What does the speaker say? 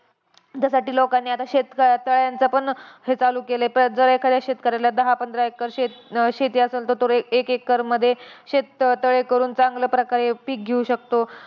त्यासाठी लोकांनी आता शेतक तळ्यांचा पण हे चालू केलाय. जर एखाद्या शेतकऱ्याला दहा-पंधरा एकर शेत शेती आसंल तर तो एक एकरमध्ये शेततळे करून चांगल्या प्रकारे पिक घेऊ शकतो.